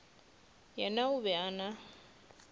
yena o be a na